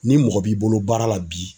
Ni mɔgɔ b'i bolo baara la bi